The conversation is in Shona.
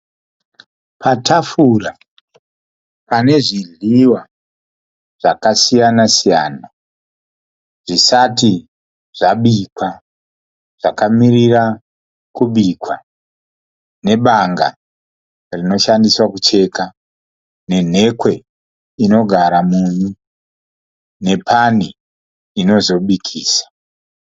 Patafura pane zvidhliwa zvakasiyana siyana zvisati zvabikwa. Zvakamirira kubikwa nebanga rinoshandiswa kucheka nenhekwe inogara munyu nepani inozobikisa.